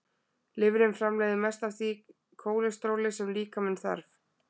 Lifrin framleiðir mest af því kólesteróli sem líkaminn þarf.